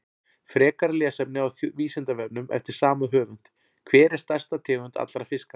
Frekara lesefni á Vísindavefnum eftir sama höfund: Hver er stærsta tegund allra fiska?